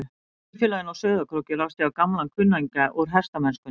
Í kaupfélaginu á Sauðárkróki rekst ég á gamlan kunningja úr hestamennskunni.